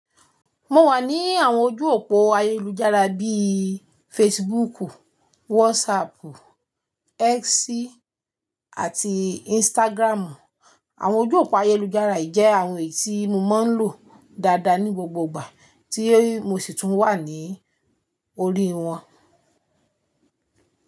Mo wà ní àwọn ojú òpó ayélujára bíi Facebook, WhatsApp, X àti Instagram. Àwọn ojú òpó ayélujára yìí jẹ́ àwọn èyí tí mo máa ń lò dáadáa ní gbogbo ìgbà tí mo sì tún wà ní orí wọn.